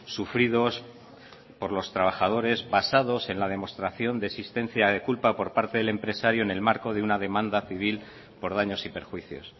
sufridos por los trabajadores basados en la demostración de existencia de culpa por parte del empresario en el marco de una demanda civil por daños y perjuicios